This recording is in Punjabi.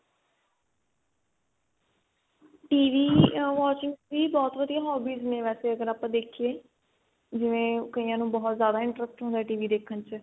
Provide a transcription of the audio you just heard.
TV watching ਵੀ ਬਹੁਤ ਵਧੀਆ hobbies ਅਗਰ ਆਪਾਂ ਦੇਖੀਏ ਜਿਵੇਂ ਕਈਆਂ ਨੂੰ ਬਹੁਤ ਜਿਆਦਾ interest ਹੁੰਦਾ TV ਦੇਖਣ ਚ